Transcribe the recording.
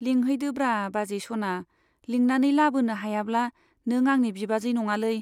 लिंहैदोब्रा बाजै सना , लिंनानै लाबोनो हायाब्ला नों आंनि बिबाजै नङालै।